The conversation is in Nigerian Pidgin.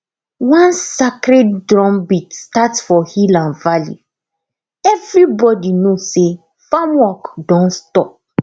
once sacred drumbeat start for hill and valley everybody know say farm work don stop